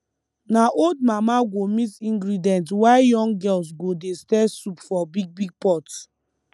na old mama go mix ingredient while young girls go dey stir soup for big big pot